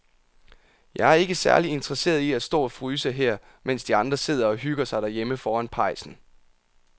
Jeg er ikke særlig interesseret i at stå og fryse her, mens de andre sidder og hygger sig derhjemme foran pejsen.